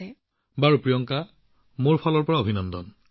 মোদী দীঃ ঠিক আছে প্ৰিয়ংকা মোৰ ফালৰ পৰা অভিনন্দন